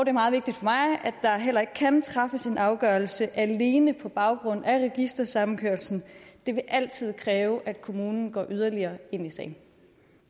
er meget vigtigt for mig at der heller ikke kan træffes en afgørelse alene på baggrund af registersammenkørslen det vil altid kræve at kommunen går yderligere ind i sagen